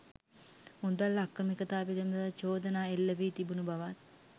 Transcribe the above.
මුදල් අක්‍රමිකතා පිළිබඳ චෝදනා එල්ලවී තිබුණු බවත්